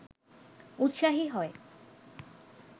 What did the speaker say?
উৎসাহী হয়